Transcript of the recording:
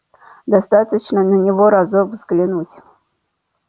достаточно на него разок взглянуть